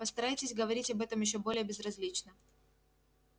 постарайтесь говорить об этом ещё более безразлично